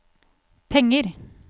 penger